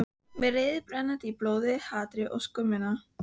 Með reiðina brennandi í blóðinu, hatrið, skömmina.